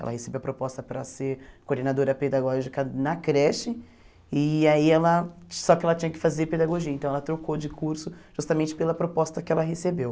Ela recebeu a proposta para ser coordenadora pedagógica na creche, e aí ela só que ela tinha que fazer pedagogia, então ela trocou de curso justamente pela proposta que ela recebeu.